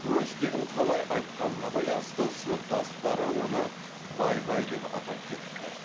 өз тегін қалай айтқанына байланысты сыныптастары оны бай бай деп атап кетіпті